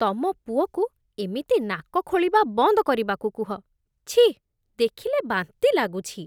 ତମ ପୁଅକୁ ଏମିତି ନାକ ଖୋଳିବା ବନ୍ଦ କରିବାକୁ କୁହ । ଛିଃ, ଦେଖିଲେ ବାନ୍ତି ଲାଗୁଛି ।